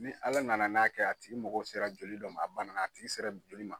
Ni Ala nana n'a kɛ a tigi mago sera joli dɔ ma a banana a tigi sera joli ma.